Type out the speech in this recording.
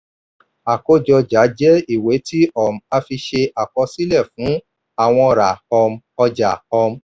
àkójọ ọjà jẹ́ ìwé tí um a fi ṣe àkọsílẹ̀ fún àwọn ra um ọja. um